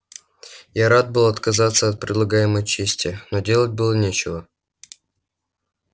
я рад был отказаться от предлагаемой чести но делать было нечего